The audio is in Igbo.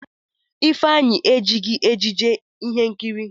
Ifeanyi ejighi ejiji ihe nkiri.